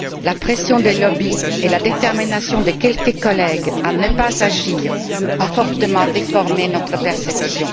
La pression des lobbies et la détermination de quelques collègues à ne pas agir a fortement déformé notre perception.